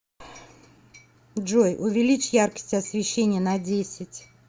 джой увеличь яркость освещения на десять